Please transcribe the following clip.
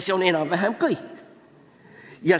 " See on enam-vähem kõik.